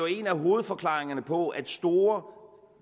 en af hovedforklaringerne på at store